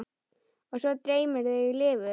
Og svo dreymir þig lifur!